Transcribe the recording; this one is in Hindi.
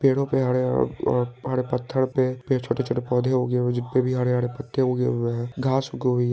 पेड़ो पे हरे-हरे -- पत्थर पे छोटी-छोटी पौधे उगे हुए है जिसपे हरे-हरे पत्ते उगे हुए है घास उगी--